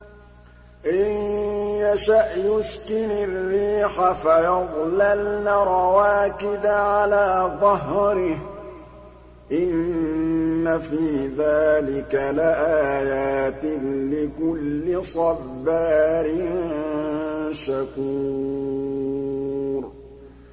إِن يَشَأْ يُسْكِنِ الرِّيحَ فَيَظْلَلْنَ رَوَاكِدَ عَلَىٰ ظَهْرِهِ ۚ إِنَّ فِي ذَٰلِكَ لَآيَاتٍ لِّكُلِّ صَبَّارٍ شَكُورٍ